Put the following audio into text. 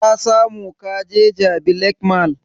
Ka samu kaje jabi lake mall?